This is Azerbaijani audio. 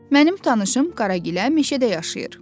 Mənim tanışım Qaragilə meşədə yaşayır.